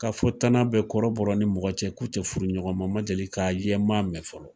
Ka fɔ tana bɛ kɔrɔbɔrɔ ni mɔgɔ cɛ k'u te furu ɲɔgɔn ma , n ma deli ka ye , n ma mɛn fɔlɔ.